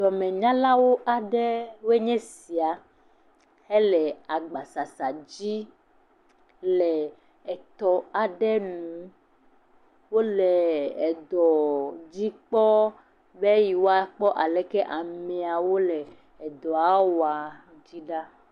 Dɔmenyala aɖewo nye sia, hele agbasasa dzi le etɔ aɖe nu. Wòle edɔ dzi kpɔ be ye woa kpɔ asi wole dɔa wɔm me ɖa.